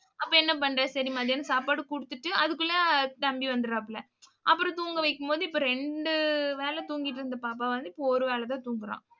அப்ப என்ன பண்ற? சரி, மதியான்னு சாப்பாடு கொடுத்துட்டு அதுக்குள்ள தம்பி வந்துடுவாப்புல அப்புறம் தூங்க வைக்கும்போது இப்ப இரண்டு வேளை தூங்கிட்டு இருந்த பாப்பா வந்து இப்ப ஒரு வேளைதான் தூங்கறான்.